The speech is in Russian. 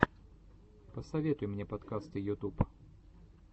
посоветуй мне подкасты ютуб